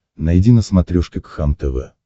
найди на смотрешке кхлм тв